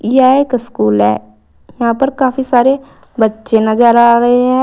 यह एक स्कूल है यहां पर काफी सारे बच्चे नजर आ रहे हैं।